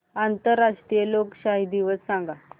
आंतरराष्ट्रीय लोकशाही दिवस सांगा